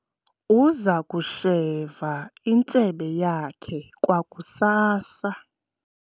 uza kusheva intshebe yakhe kwakusasa